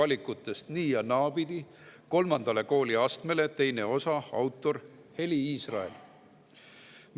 "Tervisevalikutest nii- ja naapidi", kolmandale kooliastmele, teine osa, autor Heli Israel.